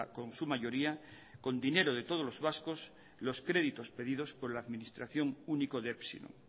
con su mayoría con dinero de todos los vascos los créditos pedidos por la administración único de epsilon